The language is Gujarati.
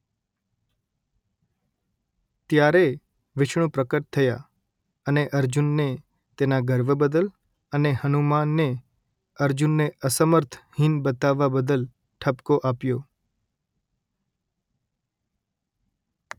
ત્યારે વિષ્ણુ પ્રકટ થયાં અને અર્જુનને તેના ગર્વ બદલ અને હનુમાનને અર્જુનને અસમર્થ હીન બતાવવા બદલ ઠપકો આપ્યો